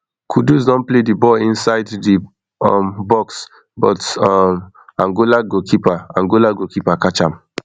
kudus don play di ball inside di um box but um angola keeper angola keeper catch am